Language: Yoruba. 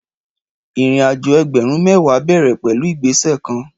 Ìrínàjọ ẹgbẹrún mẹwa bẹẹrẹ pẹlu ìgbẹsẹ kàn